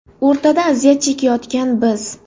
O‘rtada aziyat chekayotgan biz.